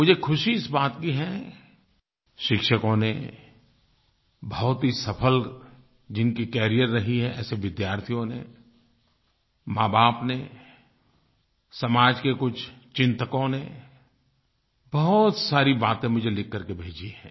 मुझे खुशी इस बात की है शिक्षकों ने बहुत ही सफल जिनकी करियर रही है ऐसे विद्यार्थियों ने माँबाप ने समाज के कुछ चिंतकों ने बहुत सारी बातें मुझे लिख कर के भेजी हैं